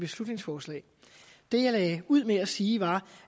beslutningsforslag det jeg lagde ud med at sige var